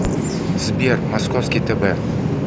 сбер московский тб